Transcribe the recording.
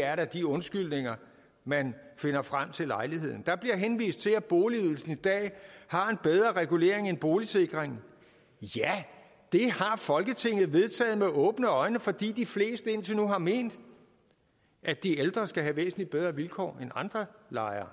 er da de undskyldninger man finder frem til lejligheden der bliver henvist til at boligydelsen i dag har en bedre regulering end boligsikringen ja det har folketinget vedtaget med åbne øjne fordi de fleste indtil nu har ment at de ældre skal have væsentlig bedre vilkår end andre lejere